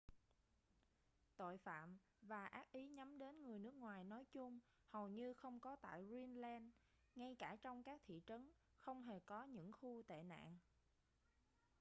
tội phạm và ác ý nhắm đến người nước ngoài nói chung hầu như không có tại greenland ngay cả trong các thị trấn không hề có những khu tệ nạn